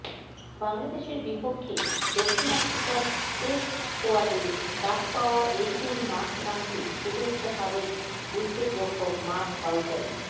বাংলাদেশের বিপক্ষে দক্ষিণ আফ্রিকার টেস্ট স্কোয়াডে ডাক পাওয়া এইডেন মার্করামকে শুভেচ্ছা সাবেক উইকেটরক্ষক মার্ক বাউচারের